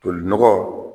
Tolinɔgɔ